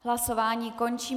Hlasování končím.